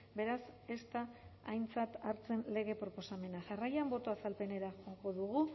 beraz ez da aintzat hartzen lege proposamena jarraian boto azalpenera joko dugu